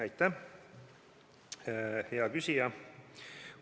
Aitäh, hea küsija!